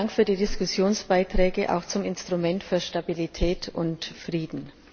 Vielen Dank für die Diskussionsbeiträge auch zum Instrument für Stabilität und Frieden.